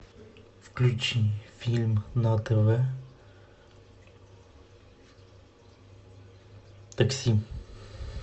включи фильм на тв такси